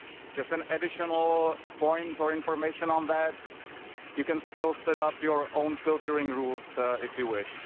Just an additional point for information on that you can still set up your own filtering rules if you wish.